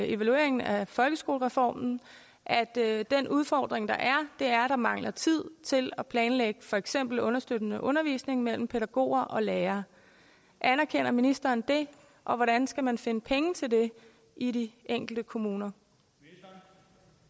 evalueringen af folkeskolereformen at at den udfordring der er er at der mangler tid til at planlægge for eksempel understøttende undervisning mellem pædagoger og lærere anerkender ministeren det og hvordan skal man finde penge til det i de enkelte kommuner